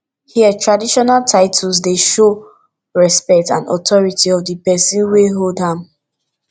here traditional titles dey show respect and authority of di pesin wey hold am